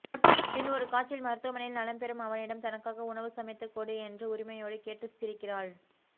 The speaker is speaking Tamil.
பின் ஒரு காட்சியில் மருத்துவமனையில் நலம் பெறும் அவனிடம் தனக்காக உணவு சமைத்துக் கொடு என்று உரிமையோடு கேட்டு சிரிக்கிறாள்